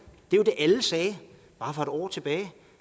bare for et år tilbage